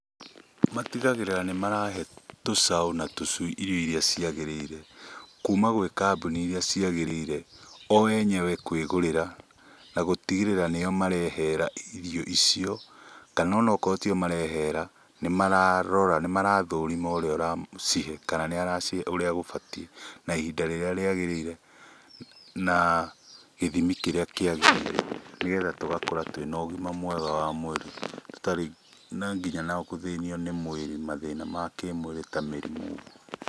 Matigagĩrĩra nĩ marahe tũcaũ na tũcui irio iria ciagĩrĩire, kuma gwĩ kambuni irĩa ciagirĩire, o enyewe kwĩ gũrĩra na gũtigĩrĩra nĩo marehera irio icio. Kana onakorwo tio marehera nĩ mararora na nĩ marathũrima ũrĩa ũracihe kana nĩ aracihe ũrĩa gũbatiĩ, na ihinda rĩrĩa rĩagĩrĩire na gĩthimi kĩrĩa kĩagĩrĩire. Nĩgetha tũgakũra twĩ na ũgima mwega wa mwĩrĩ tũtarĩ na nginya gũthĩnio nĩ mwĩrĩ mathĩna ma kĩmwĩrĩ ta mĩrimũ.